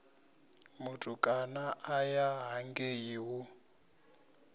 mutukana a ya hangei hu